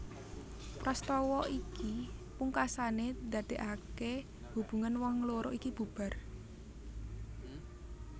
Prastawa iki pungkasané ndadékaké hubungan wong loro iki bubar